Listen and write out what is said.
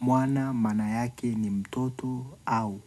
Mwana, maana yake ni mtoto, au